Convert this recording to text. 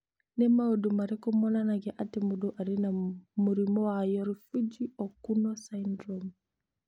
Nĩ maũndũ marĩkũ monanagia atĩ mũndũ arĩ na mũrimũ wa Yorifuji Okuno syndrome?